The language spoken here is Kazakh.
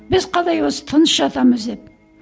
біз қалай осы тыныш жатамыз деп